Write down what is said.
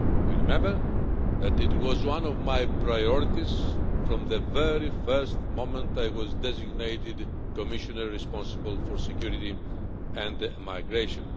You will remember that it was one of my priorities from the very first moment I was designated Commissioner responsible for security and migration.